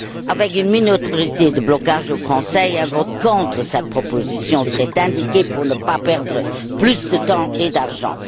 Avec une minorité de blocage au Conseil, un vote contre cette proposition serait indiqué pour ne pas perdre plus de temps et d'argent.